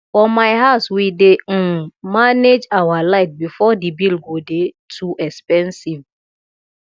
for my house we dey um manage our light before the bill go dey too expensive